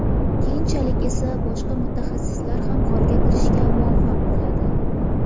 Keyinchalik esa boshqa mutaxassislar ham g‘orga kirishga muvaffaq bo‘ladi.